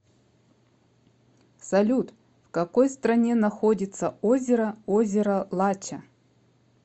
салют в какой стране находится озеро озеро лача